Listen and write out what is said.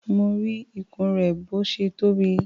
Mo rí ikùn rẹ̀ bó ṣe tóbi.